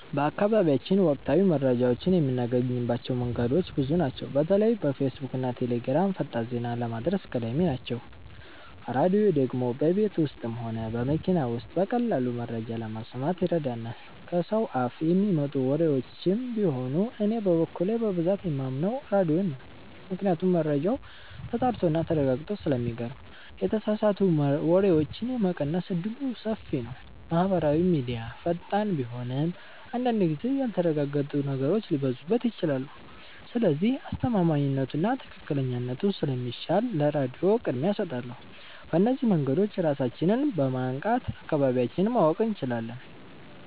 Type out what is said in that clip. በአካባቢያችን ወቅታዊ መረጃዎችን የምናገኝባቸው መንገዶች ብዙ ናቸው። በተለይ ፌስቡክና ቴሌግራም ፈጣን ዜና ለማድረስ ቀዳሚ ናቸው። ራድዮ ደግሞ በቤት ውስጥም ሆነ በመኪና ውስጥ በቀላሉ መረጃ ለመስማት ይረዳል። ከሰው አፍ የሚመጡ ወሬዎችም ቢኖሩ እኔ በበኩሌ በብዛት የማምነው ራድዮን ነው ምክንያቱም መረጃው ተጣርቶና ተረጋግጦ ስለሚቀርብ የተሳሳቱ ወሬዎችን የመቀነስ እድሉ ሰፊ ነው። ማህበራዊ ሚድያ ፈጣን ቢሆንም አንዳንድ ጊዜ ያልተረጋገጡ ነገሮች ሊበዙበት ይችላሉ። ስለዚህ አስተማማኝነቱና ትክክለኛነቱ ስለሚሻል ለራድዮ ቅድሚያ እሰጣለሁ። በእነዚህ መንገዶች ራሳችንን በማንቃት አካባቢያችንን ማወቅ እንችላለን።